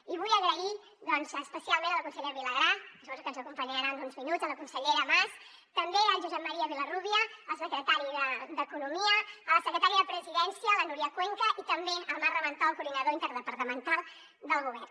i vull donar les gràcies especialment a la consellera vilagrà que suposo que ens acompanyarà en uns minuts a la consellera mas també al josep maria vilarrúbia el secretari d’economia a la secretària de presidència la núria cuenca i també al marc ramentol coordinador interdepartamental del govern